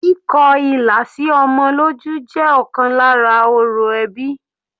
Kíkọ ilà sí ọmọ lójú jẹ́ ọ̀kan lára orò ẹbí.